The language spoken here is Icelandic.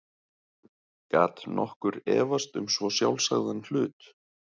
Gat nokkur efast um svo sjálfsagðan hlut?